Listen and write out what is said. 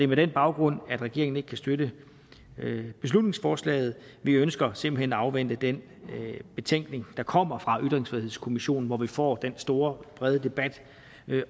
med den baggrund at regeringen ikke kan støtte beslutningsforslaget vi ønsker simpelt hen at afvente den betænkning der kommer fra ytringsfrihedskommissionen hvor vi får den store brede debat